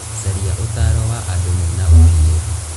Caria ũtaaro wa andũ mena ũmenyeru.